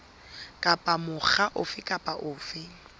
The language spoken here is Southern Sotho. kapa mokga ofe kapa ofe